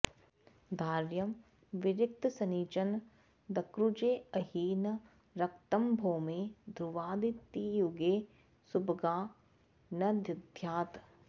धार्यं विरिक्तशनिचन्द्रकुजेऽहि न रक्तंभौमे ध्रुवादितियुगे सुभगा न दध्यात्